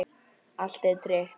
Allt er tryggt.